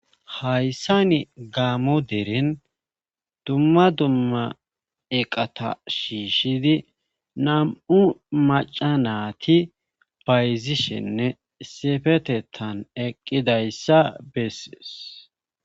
Hayssani gaamo deren dumma dumma eqata shiishidi nam'u macanati bayzishenne sefetettan eqqidayssa bessees.